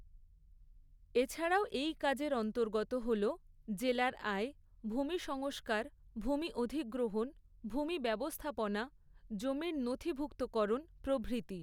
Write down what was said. এছাড়াও এই কাজের অন্তর্গত হল জেলার আয় ভূমিসংস্কার ভূমি অধিগ্রহণ ভূমি ব্যবস্থাপনা জমির নথিভুক্তকরণ প্রভৃতি।